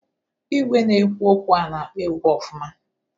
Igwe na-ekwu okwu a na-akpọ egwu ọfụma.